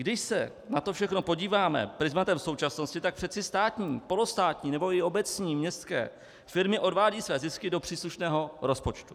Když se na to všechno podíváme prizmatem současnosti, tak přece státní, polostátní nebo i obecní městské firmy odvádějí své zisky do příslušného rozpočtu.